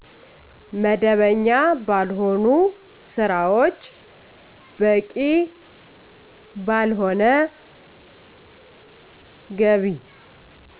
መደበኛ ባልሆኑ ስራዎች በቂ ባልሆነ ገቢ